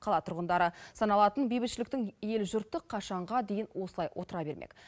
қала тұрғындары саналатын бейбітшіліктің ел жұрты қашанға дейін осылай отыра бермек